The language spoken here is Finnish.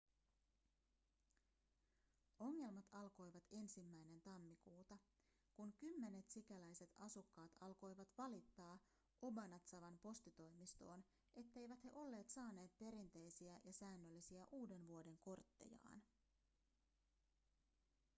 ongelmat alkoivat 1 tammikuuta kun kymmenet sikäläiset asukkaat alkoivat valittaa obanazawan postitoimistoon etteivät he olleet saaneet perinteisiä ja säännöllisiä uudenvuodenkorttejaan